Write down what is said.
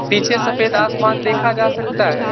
पीछे सफेद आसमान देखा जा सकता है।